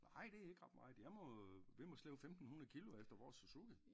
Nej det ikke ret meget jeg må vi må slæbe 1500 kilo efter vores Suzuki